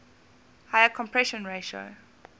higher compression ratio